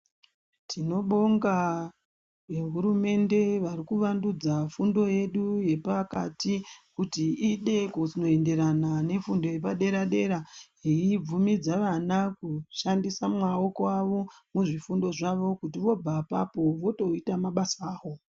Tinobonga nehurumende vari kuvandudza fundo yedu yepakati kuti ide kunoenderana nefundo yepadera dera yeibvumidza vana kushandisa maoko avo muzvifundo zvavo kuti vobva apapo votoita mabasa avo.